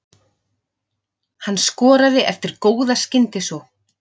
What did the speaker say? Hann skoraði eftir góða skyndisókn.